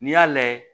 N'i y'a lajɛ